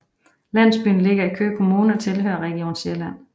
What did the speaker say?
Landsbyen ligger i Køge Kommune og tilhører Region Sjælland